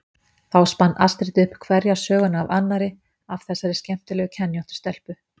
Og þá spann Astrid upp hverja söguna af annarri af þessari skemmtilega kenjóttu stelpu.